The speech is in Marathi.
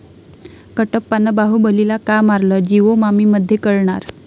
कटप्पानं बाहुबलीला का मारलं?, 'जिओ मामि'मध्ये कळणार?